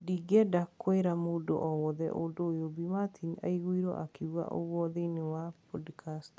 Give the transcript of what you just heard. Ndingienda kũira mũndũ o wothe ũndũ ũyũ," Bi Martin aiguirwo akiuga ũgwo thiinie wa podcast